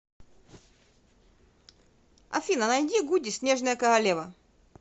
афина найди гуди снежная королева